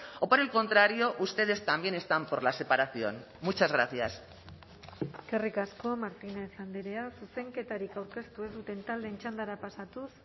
o por el contrario ustedes también están por la separación muchas gracias eskerrik asko martínez andrea zuzenketarik aurkeztu ez duten taldeen txandara pasatuz